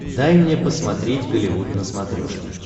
дай мне посмотреть голливуд на смотрешке